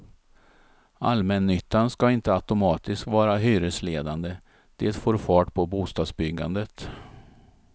Allmännyttan ska inte automatiskt vara hyresledande, det får fart på bostadsbyggandet.